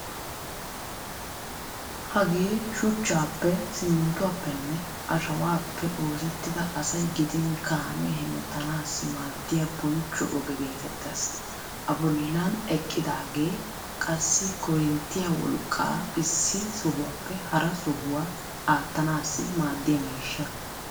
Hagee shuchchaappe, simminttuwaappenne ashawaappe oosettidi asay gidin kaame hemettanaassi maaddiya bonchcho oge geetettees. Abollan eqqidaagee qassi korinttiya wolqqaa issi sohuwaappe hara sohuwaa attanaassi maaddiya miishsha.